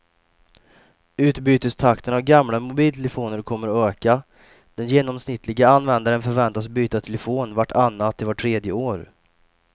Utbytestakten av gamla mobiltelefoner kommer att öka, den genomsnittliga användaren förväntas byta telefon vart annat till vart tredje år.